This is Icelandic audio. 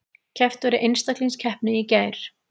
Keppt var í einstaklingskeppni í gær